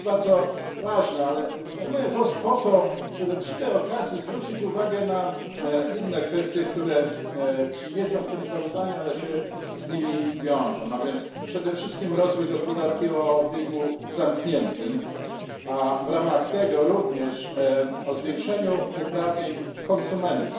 Jest to bardzo ważne, ale zajmuję głos po to, żeby przy tej okazji zwrócić uwagę na inne kwestie, których nie ma w tym sprawozdaniu, ale się z nim wiążą, a więc przede wszystkim rozwój gospodarki o obiegu zamkniętym a w ramach tego również zwiększenie uprawnień konsumentów.